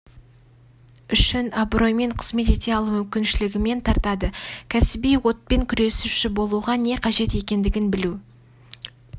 үшін абыроймен қызмет ете алу мүмкіншілігімен тартады кәсіби отпен күресуші болуға не қажет екендігін білу